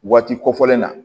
Waati kofɔlen na